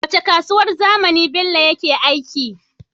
Wacce kasuwar zamani bello yake aiki